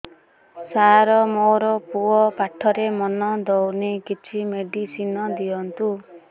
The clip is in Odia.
ସାର ମୋର ପୁଅ ପାଠରେ ମନ ଦଉନି କିଛି ମେଡିସିନ ଦିଅନ୍ତୁ